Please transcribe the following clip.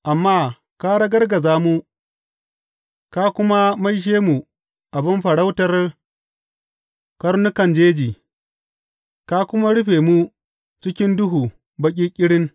Amma ka ragargaza mu ka kuma maishe mu abin farautar karnukan jeji ka kuma rufe mu cikin duhu baƙi ƙirin.